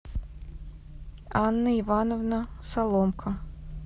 анна ивановна соломко